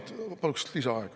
Ja lisaaeg kolm minutit, palun!